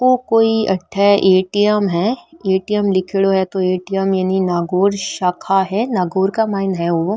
ओ कोई अठ ए.टी.एम. है ए.टी.एम. लीखेड़ो है तो ए.टी.एम. यानी नागौर शाखा है नागौर क माइन है ओ।